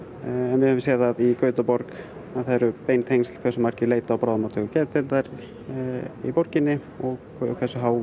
við höfum séð það í Gautaborg að það eru bein tengsl hversu margir leita á bráðamóttöku geðdeildar í borginni og hversu há